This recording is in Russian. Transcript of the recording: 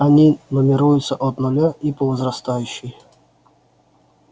они нумеруются от нуля и по возрастающей